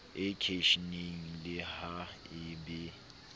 eknisheneng le ha e be